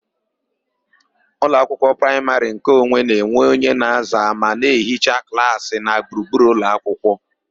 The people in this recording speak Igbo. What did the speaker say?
Ụlọakwụkwọ praịmarị nkeonwe na-enwe onye na-aza ma na ehichaa klaasị na gburugburu ụlọakwụkwọ.